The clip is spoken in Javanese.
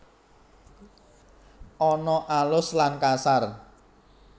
Ana alus lan kasar